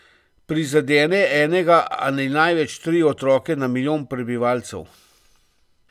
Prizadene enega ali največ tri otroke na milijon prebivalcev.